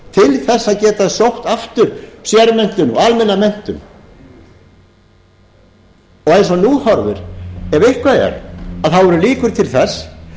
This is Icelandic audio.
til þess að geta sótt aftur sérmenntun og almenna menntun og eins og nú horfir ef eitthvað er þá eru líkur til þess